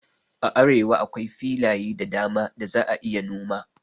A arewa akwai filaye da dama da za a iya noma